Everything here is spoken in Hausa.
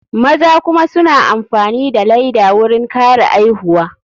Maza kuma suna amfani da laida wurin kare aihuwa.